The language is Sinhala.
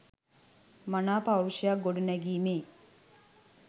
මනා පෞරුෂයක් ගොඩනැගීමේ